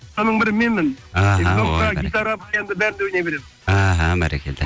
соның бірі менмін іхі гитара енді бәрінде ойнай беремін іхі бәрекелді